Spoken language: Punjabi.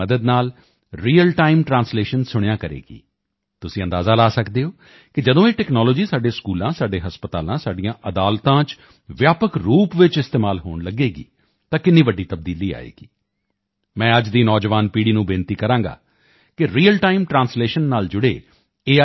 ਦੀ ਮਦਦ ਨਾਲ ਰੀਅਲ ਟਾਈਮ ਟਰਾਂਸਲੇਸ਼ਨ ਸੁਣਿਆ ਕਰੇਗੀ ਤੁਸੀਂ ਅੰਦਾਜ਼ਾ ਲਗਾ ਸਕਦੇ ਹੋ ਕਿ ਜਦੋਂ ਇਹ ਟੈਕਨੋਲੋਜੀ ਸਾਡੇ ਸਕੂਲਾਂ ਸਾਡੇ ਹਸਪਤਾਲਾਂ ਸਾਡੀਆਂ ਅਦਾਲਤਾਂ ਚ ਵਿਆਪਕ ਰੂਪ ਵਿੱਚ ਇਸਤੇਮਾਲ ਹੋਣ ਲੱਗੇਗੀ ਤਾਂ ਕਿੰਨੀ ਵੱਡੀ ਤਬਦੀਲੀ ਆਵੇਗੀ ਮੈਂ ਅੱਜ ਦੀ ਨੌਜਵਾਨ ਪੀੜ੍ਹੀ ਨੂੰ ਬੇਨਤੀ ਕਰਾਂਗਾ ਕਿ ਰੀਅਲ ਟਾਈਮ ਟਰਾਂਸਲੇਸ਼ਨ ਨਾਲ ਜੁੜੇ ਏ